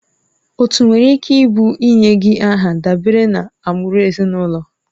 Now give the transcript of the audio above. Otu nwere ike ịbụ ịnye gị aha dabere na agbụrụ ezinụlọ